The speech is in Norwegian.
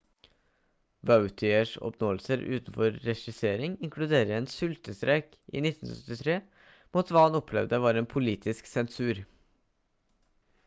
vautiers oppnåelser utenfor regissering inkluderer en sultestreik i 1973 mot hva han opplevde som politisk sensur